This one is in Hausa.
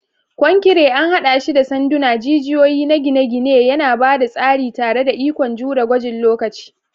Konkire an haɗa shi da sanduna, jijiyoyi na gine-gine, yana ba da tsari tare da ikon jure gwajin lokaci.